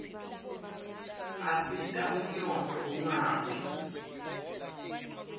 asita ummotfo unqawi